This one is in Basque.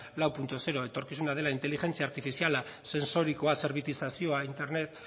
lau puntu zero etorkizuna dela inteligentzia artifiziala sentsorikoa zerbitizazioa internet